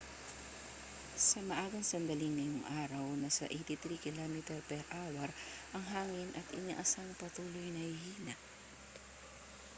sa maagang sandali ngayong araw nasa 83 km/h ang hangin at inasahang patuloy na hihina